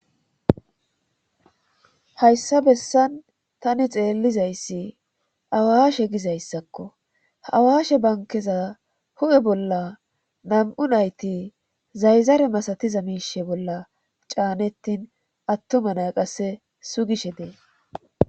hayssa bessan tani xeellizayssi awaashe gizayssakko awaashe bankeza hu7e bolla nam7u nayti zayzare masatiza miishe bolla caanettin attuma na qasse sugishe dee